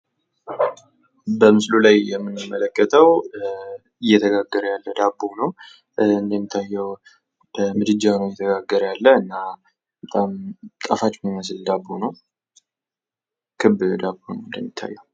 በምስሉ ላይ የምንመለከተው እየተጋገረ ያለ ዳቦ ነው። እንደሚታየው በምድጃው ላይ ነው እየተጋገረ ያለ። እና በጣም ጣፋጭ የሚመስል ዳቦ ነው። ክብ ዳቦ ነው እንደሚታየው።